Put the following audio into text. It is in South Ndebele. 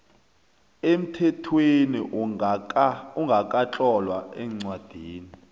emthethweni ongakatlolwa eencwadini